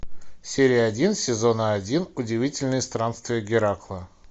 серия один сезона один удивительные странствия геракла